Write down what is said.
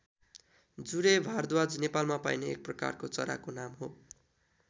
जुरे भारद्वाज नेपालमा पाइने एक प्रकारको चराको नाम हो।